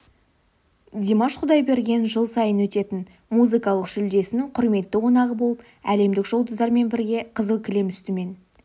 димаш құдайберген жыл сайын өтетін музыкалық жүлдесінің құрметті қонағы болып әлемдік жұлдыздармен бірге қызыл кілем үстімен